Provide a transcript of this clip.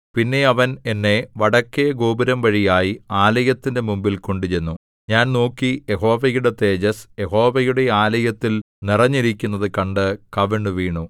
പിന്നെ അവൻ എന്നെ വടക്കെഗോപുരംവഴിയായി ആലയത്തിന്റെ മുമ്പിൽ കൊണ്ടുചെന്നു ഞാൻ നോക്കി യഹോവയുടെ തേജസ്സ് യഹോവയുടെ ആലയത്തിൽ നിറഞ്ഞിരിക്കുന്നതു കണ്ട് കവിണ്ണുവീണു